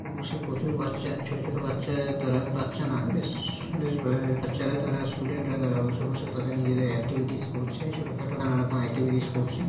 প্রচুর বাচ্চা ছোটো ছোটো বাচ্চা তারা বাচ্চা নোই বেশ বাচ্চারা তারা স্টুডেন্ট -রা তারা বসে বসে তাদের নিজেদের একটিভিটিস করছে ছোট খাটো নানা রকম এক্টিভিটিস করছে ।